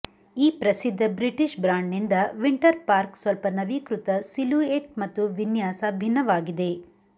ಈ ಪ್ರಸಿದ್ಧ British brand ನಿಂದ ವಿಂಟರ್ ಪಾರ್ಕ್ ಸ್ವಲ್ಪ ನವೀಕೃತ ಸಿಲೂಯೆಟ್ ಮತ್ತು ವಿನ್ಯಾಸ ಭಿನ್ನವಾಗಿದೆ